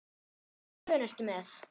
Hvaða plön ertu með?